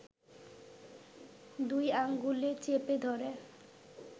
দুই আঙুলে চেপে ধরে